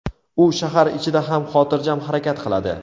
U shahar ichida ham xotirjam harakat qiladi.